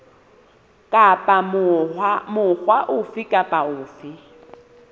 kapa mokga ofe kapa ofe